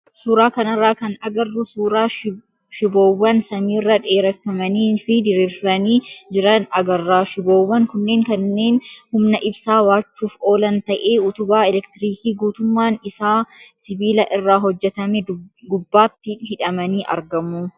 Suuraa kanarraa kan agarru suuraa shiboowwan samiirra dheereffamanii fi diriiranii jiran agarra. Shiboowwan kunneen kanneen humna ibsaa baachuuf oolan ta'ee utubaa elektiriikii guutummaan isaa sibiila irraa hojjatame gubbaatti hidhamanii argamu.